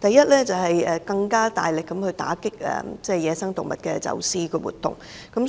第一，為了更大力打擊野生動物的走私活動，我